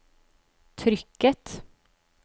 trykket